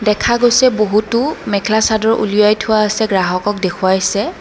দেখা গৈছে বহুতো মেখেলা চাদৰ উলিয়াই থোৱা আছে গ্ৰাহকক দেখুৱাইছে।